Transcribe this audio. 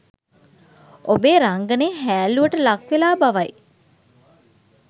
ඔබේ රංගනය හෑල්ලූවට ලක්වෙලා බවයි